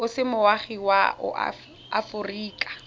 o se moagi wa aforika